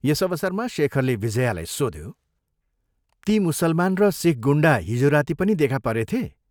यस अवसरमा शेखरले विजयालाई सोध्यो, " ती मुसलमान र सिख गुण्डा हिजो राती पनि देखा परेथे?